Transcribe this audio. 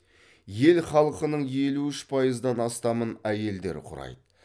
ел халқының елу үш пайыздан астамын әйелдер құрайды